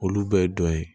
Olu bɛɛ ye dɔ ye